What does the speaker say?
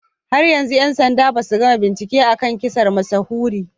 Har yanzu 'yan sanda basu gama bincike a kan kisar mashahuri